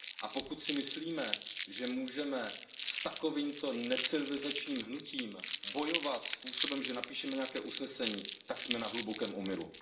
A pokud si myslíme, že můžeme s takovýmto necivilizačním hnutím bojovat způsobem, že napíšeme nějaké usnesení, tak jsme na hlubokém omylu.